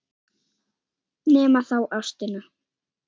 Nema þá ástin.